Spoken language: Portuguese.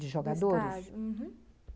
De jogadores? do estádio, uhum.